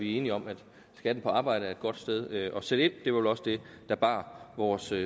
er enige om at skatten på arbejde er et godt sted at sætte ind det var vel også det der bar vores